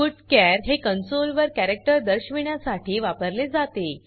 putchar हे console वर character दर्शविण्यासाठी वापरले जाते